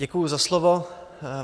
Děkuju za slovo.